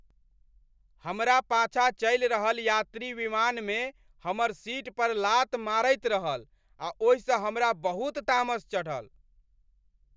हमरा पाछाँ चलि रहल यात्री विमानमे हमर सीट पर लात मारैत रहल आ ओहिसँ हमरा बहुत तामस चढ़ल।